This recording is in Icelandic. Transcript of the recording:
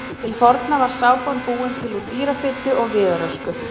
Til forna var sápan búin til úr dýrafitu og viðarösku.